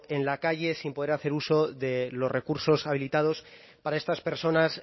en la calle sin poder hacer uso de los recursos habilitados para estas personas